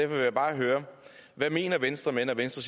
vil jeg bare høre hvad mener venstre mener venstre